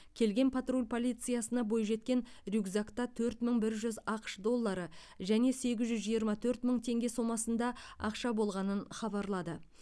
келген патруль полициясына бойжеткен рюкзакта төрт мың бір жүз ақш доллары және сегіз жүз жиырма төрт мың теңге сомасында ақша болғанын хабарлады